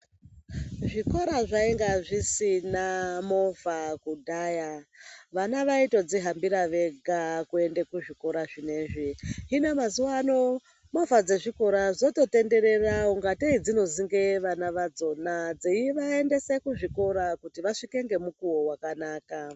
Zvikora zvainga zvisina movha kudhaya vana vaitodzihambira vega kuenda kuzvikora zvinezvi hino mazuwaano movha dzezvikora dzototendera ungatei dzinozunge vana vadzona dzeivaendesa kuzvikora kuti vasvike ngemukuwo wakanaka.